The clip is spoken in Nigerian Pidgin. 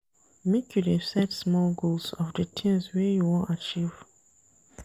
Make you dey set small goals of di tins wey you wan achieve.